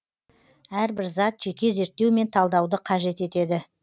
әрбір зат жеке зерттеу мен талдауды қажет етеді